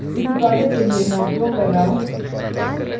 इस tutorial के लिए मैं उपयोग कर रहा हूँ